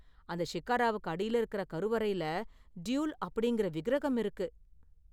அந்த ஷிக்காராவுக்கு அடியில இருக்குற கருவறையில டியுல் அப்படிங்கற விக்கிரகம் இருக்கு.